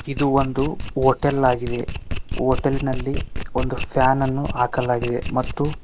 ಇದು ಒಂದು ಹೋಟೆಲ್ ಆಗಿದೆ ಹೋಟೆಲ್ ನಲ್ಲಿ ಒಂದು ಫ್ಯಾನನ್ನು ಹಾಕಲಾಗಿದೆ ಮತ್ತು--